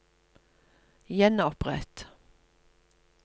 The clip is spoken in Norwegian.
gjenopprett